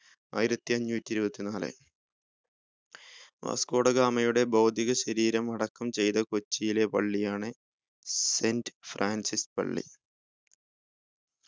ആയിരത്തിഅഞ്ഞൂട്ടി ഇരുപത്തിനാല് Vasco da ഗാമയുടെ ഭൗതിക ശരീരം അടക്കം ചെയ്‌ത കൊച്ചിയിലെ പള്ളിയാണ് Saint Francis പള്ളി